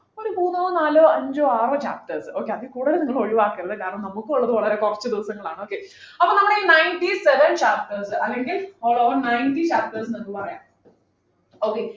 ഒരു മൂന്നോ നാലോ അഞ്ചോ ആറോ chapters okay അതിൽ കൂടുതലു നിങ്ങൾ ഒഴിവാക്കരുത് കാരണം നമുക്കുള്ളത് വളരെ കുറച്ചു ദിവസങ്ങൾ ആണ് okay അപ്പോൾ നമ്മൾ ഈ ninety seven chapters അല്ലെങ്കിൽ ഒരു ninety chapters ഉണ്ട് ന്ന് പറയാം okay